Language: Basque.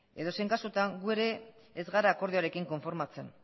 edozein kasutan gu ere ez gara akordioarekin konformatzen